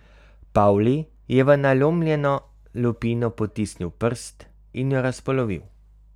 Pavli je v nalomljeno lupino potisnil prst in jo razpolovil.